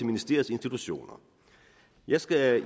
ministeriets institutioner jeg skal